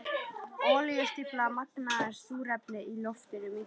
Olíustybban magnast, súrefnið í loftinu minnkar.